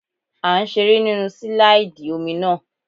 À ń seré nínu sílàìdì omi náà